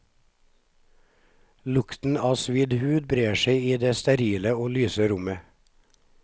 Lukten av svidd hud brer seg i det sterile og lyse rommet.